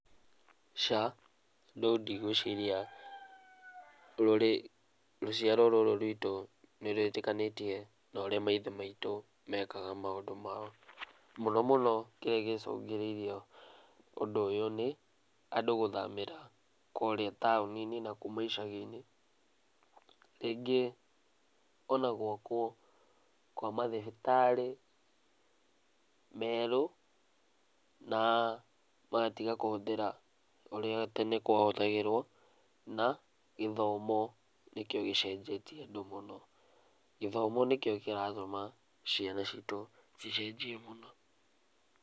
Aca, no ndigwĩciria rũciaro rũrũ rwitũ nĩ rwĩtĩkanĩtie na ũrĩa maitho maitũ mekaga maũndũ mao. Muno mũno kĩrĩa gĩcũngĩrĩirio ũndũ ũyũ nĩ, andũ gũthamĩra kũrĩa taoni-inĩ na kuma icagi-inĩ. Rĩngĩ ona gwakwo kwa mathibitarĩ, merũ na magatiga kũhũthĩra, ũrĩa tene kwahũthagĩrwo na gĩthomo, nĩkĩo gĩcenjetie andũ mũno. Gĩthomo nĩkĩo kĩratũma ciana citũ cicenjie mũno.